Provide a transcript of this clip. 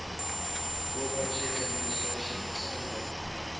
gorbachev's administration facilitated